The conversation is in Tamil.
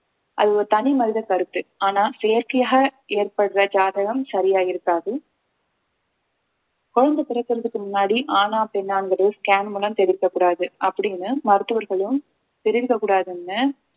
அது ஒரு தனி மனித கருத்து ஆனா செயற்கையாக ஏற்படுற ஜாதகம் சரியா இருக்காது குழந்தை பிறக்கிறதுக்கு முன்னாடி ஆணா பெண்ணாங்கிறது scan மூலம் தெரிவிக்கக்கூடாது அப்படின்னு மருத்துவர்களும் தெரிவிக்கக் கூடாதுன்னு